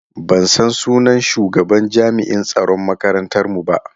Ban san sunan shugaban jami'an tsaron makarantar mu ba.